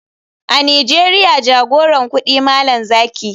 A nigeria jagoran kudi malam zaki.